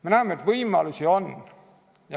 Me näeme, et võimalusi on.